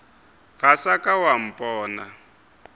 ga sa ka wa mpona